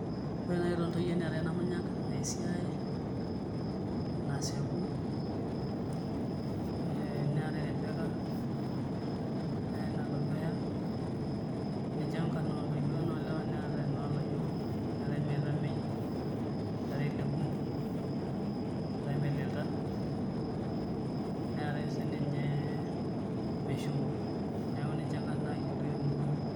Ore nai itonta iyie neetau namnyak, naisiae, nasieku, neetae rebbeca neeta nalotuesha ninche nkarn ontoyie ore nolewa neeta nolayiok, neetae meitamei neetae lekumok neetae melenta neetae sininche meshuko neaku ninche nkarn nayioloi temurua.